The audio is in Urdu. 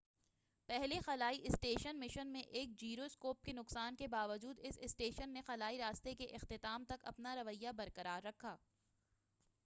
پہلے خلائی اسٹیشن مشن میں ایک جیرو اسکوپ کے نقصان کے باوجود اس اسٹیشن نے خلائی راستے کے اختتام تک اپنا رویہ برقرار رکھا